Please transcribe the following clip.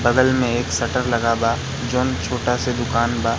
बगल में एक शटर लगा बा जोन छोटा से दुकान बा।